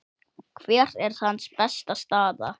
Hver er hans besta staða?